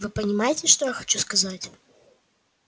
вы понимаете что я хочу сказать